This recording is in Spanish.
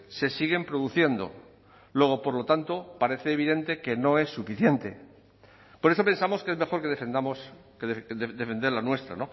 se siguen produciendo luego por lo tanto parece evidente que no es suficiente por eso pensamos que es mejor que defendamos defender la nuestra